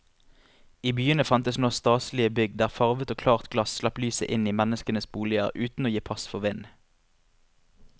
I byene fantes nå staselige bygg der farvet og klart glass slapp lyset inn i menneskenes boliger uten å gi pass for vind.